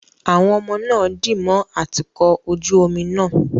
Àwọn ọmọ náà dì mọ́ atukọ̀ ojú omi náà